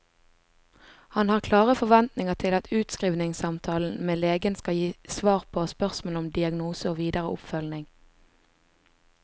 Han har klare forventninger til at utskrivningssamtalen med legen skal gi svar på spørsmål om diagnose og videre oppfølging.